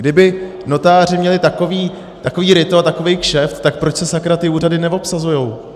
Kdyby notáři měli takové ryto a takový kšeft, tak proč se sakra ty úřady neobsazují?